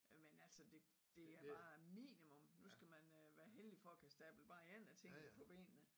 Øh men altså det det er bare minimum nu skal man øh være heldig for at kunne stable bare én af tingene på benene